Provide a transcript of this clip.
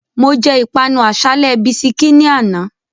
Mo jẹ́ ìpanu àsálẹ́ bisikí ní àná